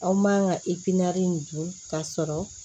Aw man ka nin dun k'a sɔrɔ